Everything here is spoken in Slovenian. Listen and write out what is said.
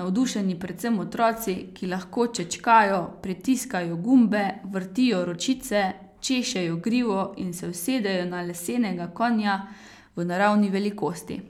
navdušeni predvsem otroci, ki lahko čečkajo, pritiskajo gumbe, vrtijo ročice, češejo grivo in se usedejo na lesenega konja v naravni velikosti.